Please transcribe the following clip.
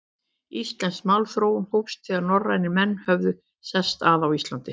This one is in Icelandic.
Íslensk málþróun hófst, þegar norrænir menn höfðu sest að á Íslandi.